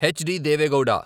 HD. Deve Gowda